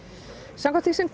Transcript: samkvæmt því sem